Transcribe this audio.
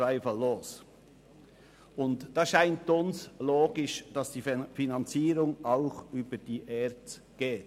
Hier scheint es uns logisch, dass die Finanzierung auch über die ERZ erfolgt.